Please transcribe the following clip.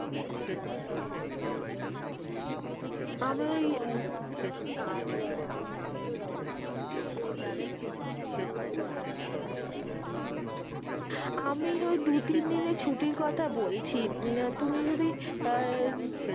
আসলে কি বোলো তো কাজ চাপ তো তাই জন্য ছুটি টুটি ও নেই তার জন্য এখন কি বলি বোলো তো তোমাকে, আমি ওই দু তিন দিনের ছুটির কথা বলছি, তুমি যদি আহ